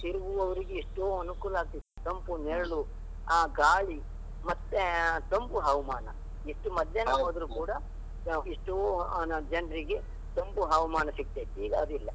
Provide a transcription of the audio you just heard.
ತಿರುಗುವವರಿಗೆ ಎಷ್ಟೋ ಅನುಕೂಲ ಆಗ್ತಿತ್ತು, ತಂಪು ನೆರಳು ಆ ಗಾಳಿ ಮತ್ತೆ ತಂಪು ಹವಾಮಾನ, ಎಷ್ಟು ಮಧ್ಯಾಹ್ನ ಹೋದ್ರು ಕೂಡ ಎಷ್ಟೋ ಜನರಿಗೆ ತಂಪು ಹವಾಮಾನ ಸಿಗ್ತಿತ್ತು, ಈಗ ಅದು ಇಲ್ಲ.